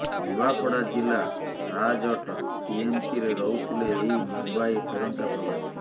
ନୂଆପଡ଼ା ଜିଲ୍ଲା ସାହାଜଟ ଟିଏମସିରେ ରହୁଥିଲେ ଏହି ମୁମ୍ବାଇ ଫେରନ୍ତା ପ୍ରବାସୀ